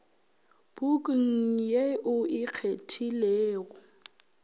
pukung ye o e kgethilego